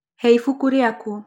Hee ibuku rĩaku